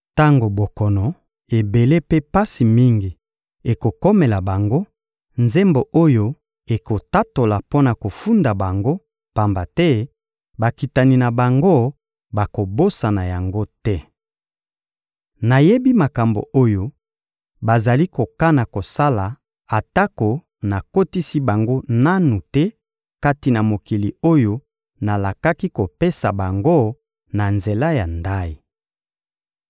Tango bokono ebele mpe pasi mingi ekokomela bango, nzembo oyo ekotatola mpo na kofunda bango, pamba te bakitani na bango bakobosana yango te. Nayebi makambo oyo bazali kokana kosala atako nakotisi bango nanu te kati na mokili oyo nalakaki kopesa bango na nzela ya ndayi.»